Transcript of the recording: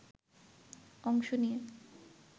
অংশ নিয়ে